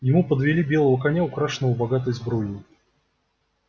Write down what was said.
ему подвели белого коня украшенного богатой сбруей